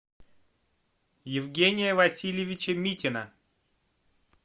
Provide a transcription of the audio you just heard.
евгения васильевича митина